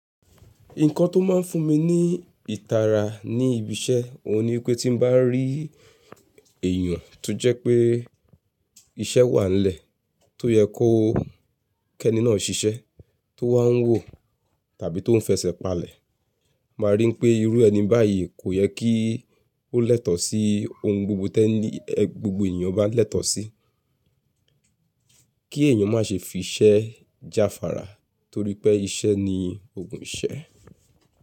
Nǹkan tó máa ń fún mi ní ìtara ní ibi iṣẹ́, òun ni pé tí bá rí èèyàn tó jẹ́ pé iṣẹ́ wà nílẹ̀ tó yẹ kó kẹ́ni náà ṣiṣẹ́, tó wà ń wò tàbí tó ń fẹsẹ̀ palẹ̀, máa rí pé irú ẹni báyìí kò yẹ kí ó lẹ́tọ̀ọ́ sí ohun gbogbo tẹ ni ẹ gbogbo èèyàn bá ń lẹ́tọ̀ọ́ sí. Kí èèyàn má ṣe fi iṣẹ́ jáfàrà torí pé iṣẹ́ ni oogùn iṣẹ́